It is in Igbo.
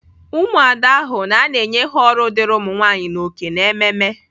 Umuada hụ na a na-enye ha ọrụ dịịrị ụmụnwaanyị na oke n'ememe.